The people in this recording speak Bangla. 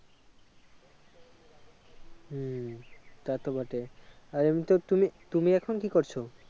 হম তা তো বটে আর এমনিতে তুমি তুমি এখন কি করছো?